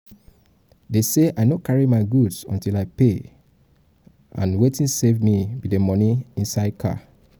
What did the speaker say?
dey say i no go carry my goods until i pay fee wetin save me be the money inside car